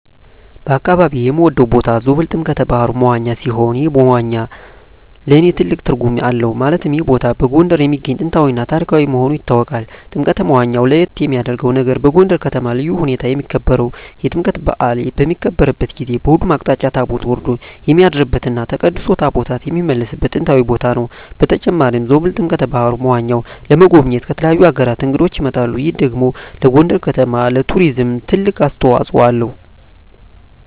በአካባቢየ የምወደው ቦታ ዞብል ጥምቀተ ባህሩ (መዋኛ) ሲሆን ይህ መዋኛ ለእኔ ትልቅ ትርጉም አለው ማለትም ይህ ቦታ በጎንደር የሚገኝ ጥንታዊ እና ታሪካዊ መሆኑ ይታወቃል። ጥምቀተ መዋኛው ለየት የሚያረገው ነገር በጎንደር ከተማ በልዩ ሁኔታ የሚከበረው የጥምቀት በአል በሚከበርበት ጊዜ በሁሉም አቅጣጫ ታቦት ወርዶ የሚያድርበት እና ተቀድሶ ታቦታት የሚመለስበት ጥንታዊ ቦታ ነው። በተጨማሪም ዞብል ጥምቀተ በሀሩ (መዋኛው) ለመጎብኘት ከተለያዩ አገራት እንግዶች ይመጣሉ ይህ ደግሞ ለጎንደር ከተማ ለቱሪዝም ትልቅ አስተዋጽኦ አለው።